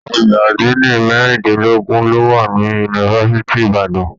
Ọgbà adini merindinlogun lo wà ní yunifásítì Ìbàdàn.